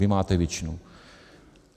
Vy máte většinu.